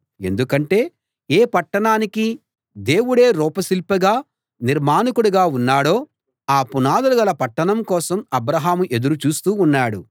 ఎందుకంటే ఏ పట్టణానికి దేవుడే రూప శిల్పిగా నిర్మాణకుడుగా ఉన్నాడో ఆ పునాదులు గల పట్టణం కోసం అబ్రాహాము ఎదురు చూస్తూ ఉన్నాడు